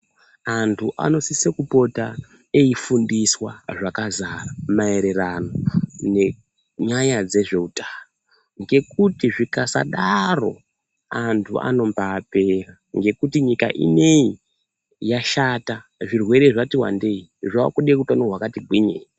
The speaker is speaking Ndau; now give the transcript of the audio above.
Antu anosisa kupota eifundiswa zvakasara maererano nenyaya dzezvehutano ngekuti zvikasadaro antu anobapera nekuti nyika inei yashata yakuda hutano hwakati gwinyei.